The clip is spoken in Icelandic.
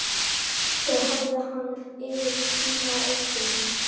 Þau hafði hann yfir í tíma og ótíma.